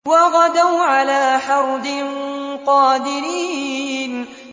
وَغَدَوْا عَلَىٰ حَرْدٍ قَادِرِينَ